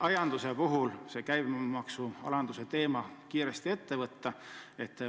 Aianduse puhul võiks käibemaksu alandamise teema kiiresti ette võtta.